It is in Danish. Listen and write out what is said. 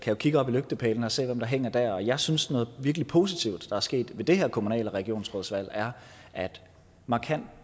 jo kigge op i lygtepælene og se hvem der hænger der og jeg synes noget virkelig positivt der er sket ved det her kommune og regionsrådsvalg er at markant